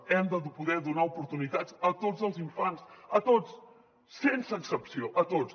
hem de poder donar oportunitats a tots els infants a tots sense excepció a tots